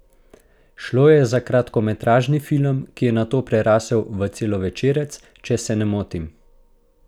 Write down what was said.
Šlo je za kratkometražni film, ki je nato prerasel v celovečerec, če se ne motim?